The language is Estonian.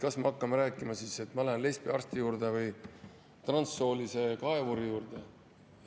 Kas me hakkame siis rääkima, et ma lähen lesbiarsti juurde või transsoolise kaevuri juurde?